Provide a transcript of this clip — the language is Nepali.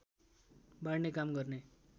बाँड्ने काम गर्ने